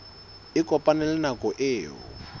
a kopane le nako eo